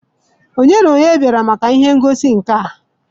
Ònye na onye bịara maka ihe ngosi nka?